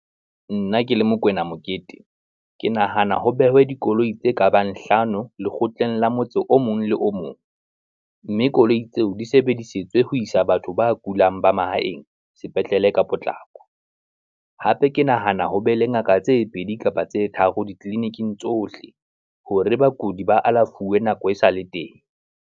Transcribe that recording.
Nna ke le Mokoena Mokete, ke nahana ho behwe dikoloi tse kabang hlano lekgotleng la motse o mong le o mong, mme koloi tseo di sebedisetswe ho isa batho ba kulang ba mahaeng sepetlele ka potlako. Hape ke nahana ho be le ngaka tse pedi kapa tse tharo ditleliniking tsohle, hore bakudi ba alafuwe nako e sale teng.